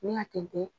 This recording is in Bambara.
N'i y'a tɛntɛn